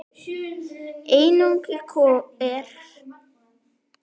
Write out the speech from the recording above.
Einokun er einnig huglæg.